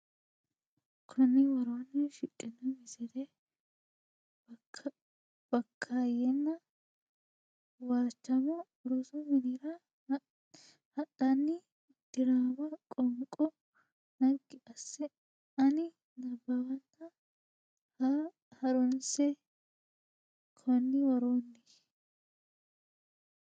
konni woroonni shiqino Misile Bakkaayyenna Waachamo rosu minira hadhanna diraama qoonqo naggi asse ani nabbawanna ha runse e konni woroonni.